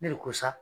Ne de ko sa